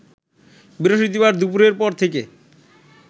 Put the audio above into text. বৃহস্পতিবার দুপুরের পর থেকে